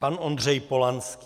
Pan Ondřej Polanský.